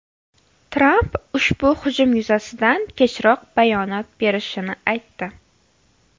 Tramp ushbu hujum yuzasidan kechroq bayonot berishini aytdi .